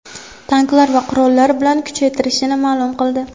tanklar va qurollar bilan kuchaytirishini ma’lum qildi,.